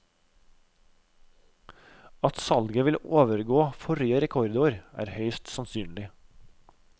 At salget vil overgå forrige rekordår, er høyst sannsynlig.